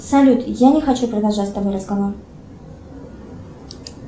салют я не хочу продолжать с тобой разговор